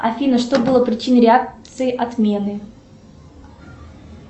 афина что было причиной реакции отмены